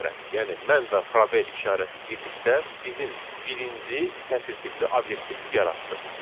Yəni mən və probel işarəsi birlikdə bizim birinci sətir tipli obyektimizi yaratdı.